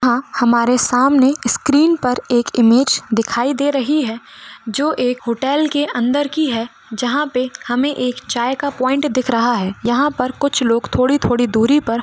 यहाँ हमारे सामने स्क्रीन पर एक इमेज दिखाई दे रही है जो एक होटल के अंदर की है जहां पर हमें एक चाय का पॉइंट दिख रहा है यहां पर कुछ लोग थोड़ी-थोड़ी दूरी पर --